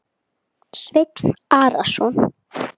Sveinn Arason.